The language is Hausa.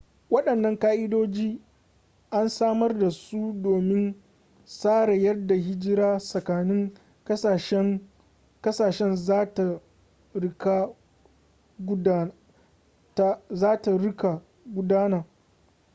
wadannan ka'idoji an samar da su domin tsara yadda hijira tsakanin kasashen za ta rika gudana